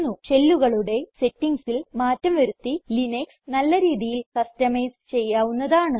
ഷെല്ലുകളുടെ സെറ്റിംഗ്സിൽ മാറ്റം വരുത്തി ലിനക്സ് നല്ല രീതിയിൽ കസ്റ്റമൈസ് ചെയ്യാവുന്നതാണ്